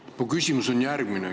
Minu küsimus on järgmine.